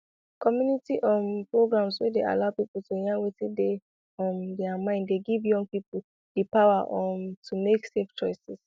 community um programs wey dey allow people to yarn wetin dey um their mind dey give young people di power um to make safe choices